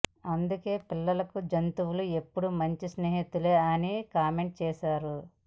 అందుకే పిల్లలకు జంతువులు ఎప్పుడు మంచి స్నేహితులే అని కామెంట్ చేసారు